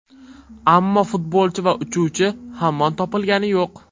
Ammo futbolchi va uchuvchi hamon topilgani yo‘q.